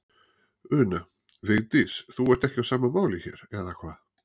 Una: Vigdís, þú ert ekki á sama máli hér, eða hvað?